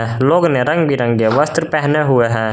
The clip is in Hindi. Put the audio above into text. लोग ने रंग बिरंगे वस्त्र पहने हुए हैं।